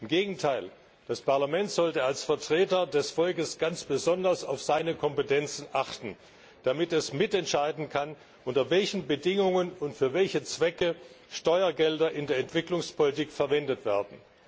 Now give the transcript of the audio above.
Im Gegenteil Das Parlament sollte als Vertreter des Volkes ganz besonders auf seine Kompetenzen achten, damit es mitentscheiden kann, unter welchen Bedingungen und für welche Zwecke Steuergelder in der Entwicklungspolitik verwendet werden.